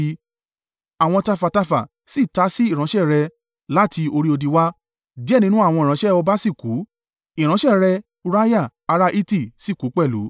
Àwọn tafàtafà sì ta sí ìránṣẹ́ rẹ láti orí odi wá, díẹ̀ nínú àwọn ìránṣẹ́ ọba sì kú, ìránṣẹ́ rẹ̀ Uriah ará Hiti sì kú pẹ̀lú.”